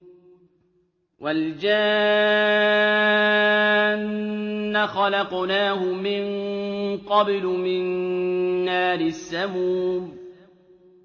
وَالْجَانَّ خَلَقْنَاهُ مِن قَبْلُ مِن نَّارِ السَّمُومِ